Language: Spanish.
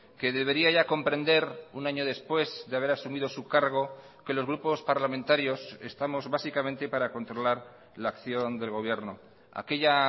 que debería ya comprender un año después de haber asumido su cargo que los grupos parlamentarios estamos básicamente para controlar la acción del gobierno aquella